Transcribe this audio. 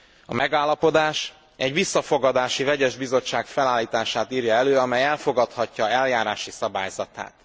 A megállapodás egy visszafogadási vegyes bizottság felállítását írja elő, amely elfogadhatja eljárási szabályzatát.